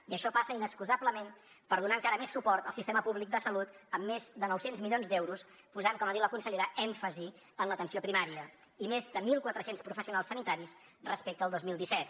i això passa inexcusablement per donar encara més suport al sistema públic de salut amb més de nou cents milions d’euros posant com ha dit la consellera èmfasi en l’atenció primària i més de mil quatre cents professionals sanitaris respecte al dos mil disset